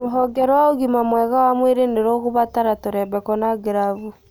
Rũhonge rwa ũgma mwega wa mwĩrĩ nĩ rũgũbatara tũrembeko na glavu